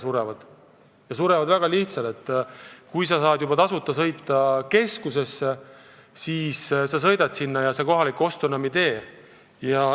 Surevad välja lihtsalt põhjusel, et kui sa saad tasuta sõita keskusesse, siis sa sõidad sinna ja kohalikku poodi ostma enam ei lähe.